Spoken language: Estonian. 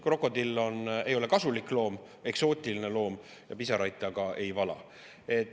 Krokodill ei ole kasulik loom, ta on eksootiline loom ja pisaraid ta ka ei vala.